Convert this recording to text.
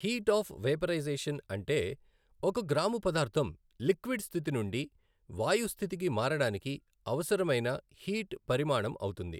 Heat of vaporization అంటే ఒక gram పదార్థం లిక్విడ్ స్థితి నుండి వాయు స్థితికి మారడానికి అవసరమైన హీట్ పరిమాణం అవుతుంది.